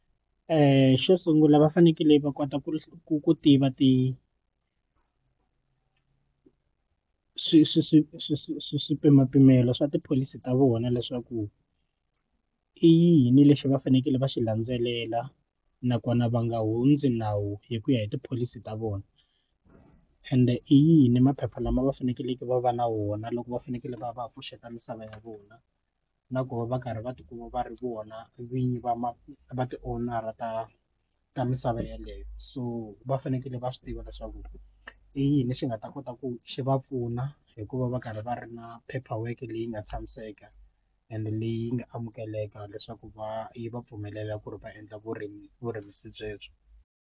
xo sungula va fanekele va kota ku tiva ti swi swi swi swi swi swipimapimelo swa tipholisi ta vona leswaku i yini lexi va fanekele va xi landzelela nakona va nga hundzi nawu hi ku ya hi tipholisi ta vona ende i yini maphepha lama va fanekeleke va va na wona loko va fanekele va va pfuxeta misava ya vona na ku va va karhi va tikuma va ri vona vinyi va va va ti-owner a ta ta misava yeleyo so va fanekele va swi tiva leswaku i yini lexi nga ta kota ku swi va pfuna hikuva va karhi va ri na paper work leyi nga tshamiseka ende leyi nga amukeleka leswaku va yi va pfumelela ku ri va endla vurimi vurimisi byebyo.